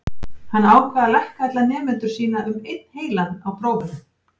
Hann ákvað að lækka alla nemendur sína um einn heilan á prófunum.